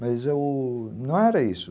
Mas eu... não era isso.